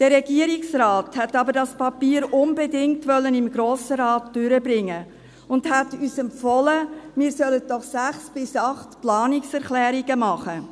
Der Regierungsrat wollte aber das Papier unbedingt im Grossen Rat durchbringen und empfahl uns, sechs bis acht Planungserklärungen zu machen.